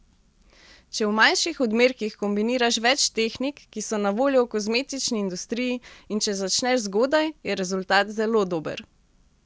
Če v manjših odmerkih kombiniraš več tehnik, ki so na voljo v kozmetični industriji, in če začneš zgodaj, je rezultat zelo dober.